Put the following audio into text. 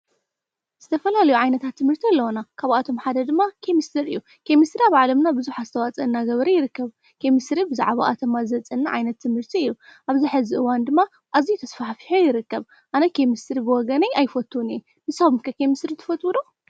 ዝተፈላለዩ ዓይነታት ትምህርቲ ኣለዉና፤ ካብኣቶም ሓደ ድማ ኬምስትሪ እዩ፤ ኬምስትሪ ኣብ ዓለምና ብዙሕ ኣስተዋፅኦ እናገበረ ይርከብ፤ ኬምስትሪ ብዛዕባ ኣተማት ዘፅንዕ ዓይነት ትምህርቲ እዩ፤ ኣብዚ ሐዚ እዋን ድማ ኣዝዩ ተስፋሕፊሑ ይርከብ። ኣነ ኬምስትሪ ብወገነይ ኣይፈቱን እየ ንስኹም ትፈትዉዎ ዶ?